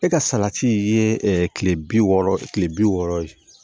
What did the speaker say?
E ka salati ye kile bi wɔɔrɔ kile bi wɔɔrɔ ye